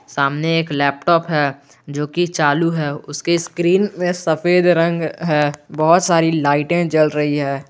सामने एक लैपटॉप है जो की चालू है उसके स्क्रीन में सफेद रंग है बहुत सारे लाइट जल रही हैं।